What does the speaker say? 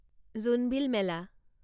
Jonbeel Mela